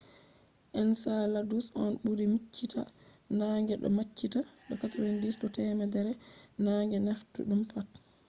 enceladus on ɓuri miccita naange do maccitaa de 90 do temere je naange taffiɗum pat